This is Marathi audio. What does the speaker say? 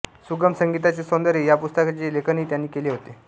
सुगम संगीताचे सौंदर्य या पुस्तकाचे लेखनही त्यांनी केले होते